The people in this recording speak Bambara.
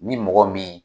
Ni mɔgɔ min